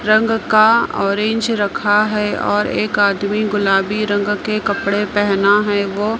रंग का ऑरेंज रखा है और एक आदमी गुलाबी रंग के कपड़े पहना है वो--